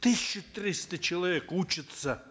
тысяча триста человек учатся